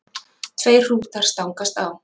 Tveir hrútar stangast á.